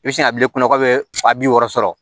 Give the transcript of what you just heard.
I bɛ sin ka bil'i kunna k'a bɛ fa bi wɔɔrɔ sɔrɔ